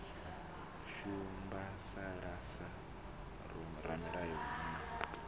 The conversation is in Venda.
shimbasala sa vhoramilayo hu na